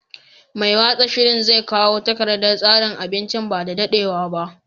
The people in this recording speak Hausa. Mai watsa shiri zai kawo takardar tsarin abincin ba da daɗewa ba.